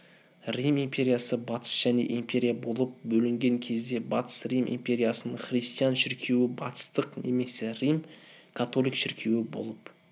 рим империясы батыс және империя болып бөлінген кезде батыс рим империясының христиан шіркеуі батыстық немесе рим-католик шіркеуі болып